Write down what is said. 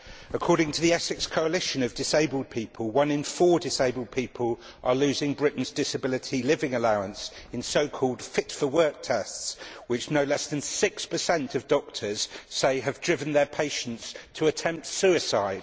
According to the Essex Coalition of Disabled People, one in four disabled people are losing Britain's Disability Living Allowance in so called fit for work tests, which no less than 6 of doctors say have driven their patients to attempt suicide.